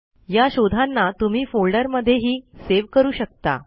या शोधांना तुम्ही फोल्डर मध्ये हि सेव करू शकता